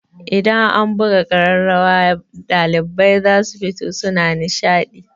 Idan an buga ƙararrawa ɗalibai zasu fito suna nishaɗi.